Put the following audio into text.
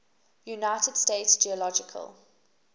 united states geological